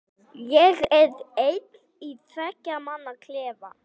Ég er einn í tveggja manna klefa.